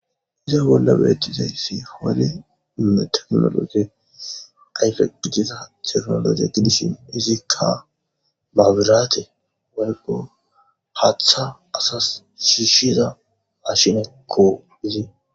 iza bolla beettizaysi homale tekinoloje ayfegitiza tekinoloje gidishin izikka maabiraate balgo haatha asas shiishida mashinekko izii